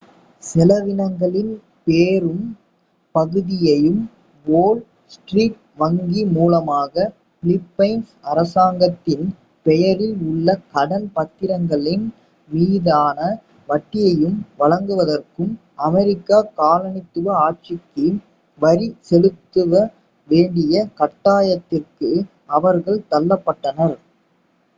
செலவினங்களின் பெரும் பகுதியையும் வோல் ஸ்ட்ரீட் வங்கி மூலமாக பிலிப்பைன்ஸ் அரசாங்கத்தின் பெயரில் உள்ள கடன் பத்திரங்களின் மீதான வட்டியையும் வழங்குவதற்கும் அமெரிக்க காலனித்துவ ஆட்சிக்கு வரி செலுத்த வேண்டிய கட்டாயத்திற்கு அவர்கள் தள்ளப்பட்டனர்